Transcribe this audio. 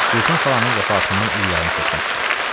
Gülsüm xalanın vəfatından il yarım keçmişdi.